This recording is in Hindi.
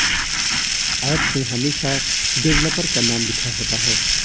ऐप में हमेशा डेवलपर का नाम लिखा होता है